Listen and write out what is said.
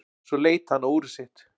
Svo leit hann á úrið sitt.